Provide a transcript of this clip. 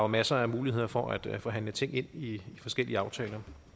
masser af muligheder for at forhandle ting ind i forskellige aftaler